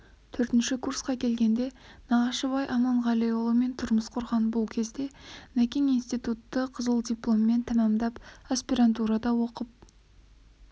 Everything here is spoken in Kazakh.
төртінші курсқа келгенде нағашыбай аманғалиұлымен тұрмыс құрған бұл кезде нәкең институтты қызыл дипломмен тәмәмдап аспирантурада оқып